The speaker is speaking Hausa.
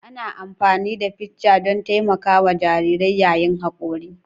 Ana amfani da ficcan don taimakawa jarirai yayin hakora